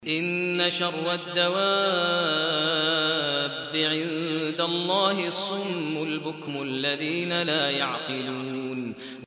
۞ إِنَّ شَرَّ الدَّوَابِّ عِندَ اللَّهِ الصُّمُّ الْبُكْمُ الَّذِينَ لَا يَعْقِلُونَ